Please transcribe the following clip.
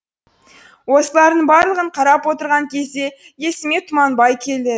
осылардың барлығын қарап отырған кезде есіме тұманбай